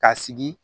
Ka sigi